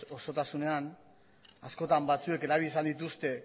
osotasunean askotan batzuek erabili izan dituzte